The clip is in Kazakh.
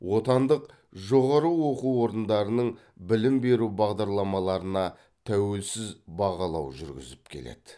отандық жоғары оқу орындарының білім беру бағдарламаларына тәуелсіз бағалау жүргізіп келеді